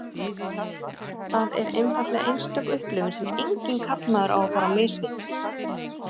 Það er einfaldlega einstök upplifun sem enginn karlmaður má fara á mis við.